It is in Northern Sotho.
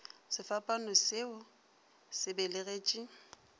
sefapano se o se belegetše